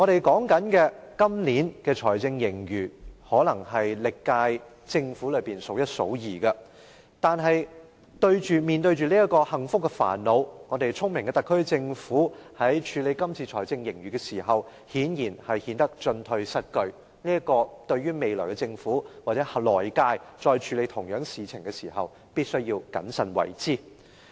今年的財政盈餘可能是歷屆政府中數一數二的，但是，面對着這個幸福的煩惱，聰明的特區政府在處理這次的財政盈餘時顯然顯得進退失據，未來的政府或來屆政府在再處理相同事情時，必須謹慎為之。